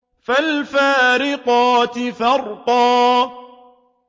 فَالْفَارِقَاتِ فَرْقًا